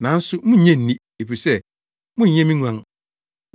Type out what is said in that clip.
nanso munnnye nni, efisɛ monyɛ me nguan.